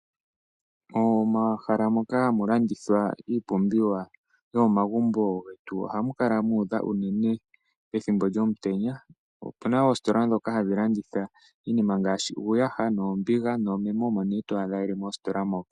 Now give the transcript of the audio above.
Omahala moka hamu landithwa iipumbiwa yomomagumbo getu ohamu kala mu udha uunene ethimbo lyomutenya. Opuna oositola dhoka hadhi landitha iinima ngaashi uuyaha, oombiga noomeme omene twaadha yeli mositola moka.